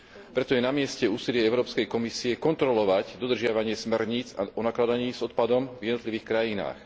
Preto je namieste úsilie Európskej komisie kontrolovať dodržiavanie smerníc o nakladaní s odpadom v jednotlivých krajinách.